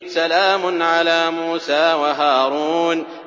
سَلَامٌ عَلَىٰ مُوسَىٰ وَهَارُونَ